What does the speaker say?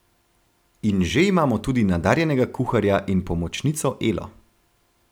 In že imamo tudi nadarjenega kuharja in pomočnico Elo.